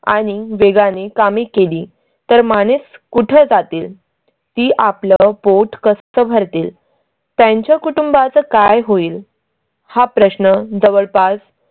आणि वेगाने कामी केली तर माणूस कुठे जातील? ती आपलं पोट कसं भरतील त्यांच्या कुटुंबाचं काय होईल? हा प्रश्न जवळपास